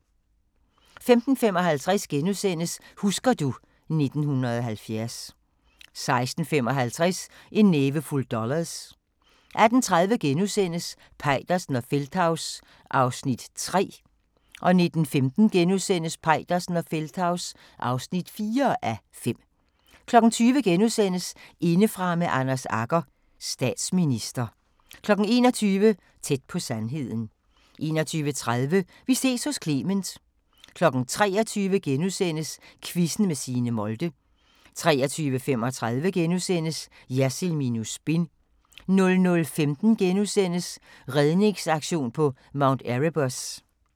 15:55: Husker du ... 1970 * 16:55: En nævefuld dollars 18:30: Peitersen og Feldthaus (3:5)* 19:15: Peitersen og Feldthaus (4:5)* 20:00: Indefra med Anders Agger – Statsminister * 21:00: Tæt på sandheden 21:30: Vi ses hos Clement 23:00: Quizzen med Signe Molde * 23:35: Jersild minus spin * 00:15: Redningsaktion på Mount Erebus *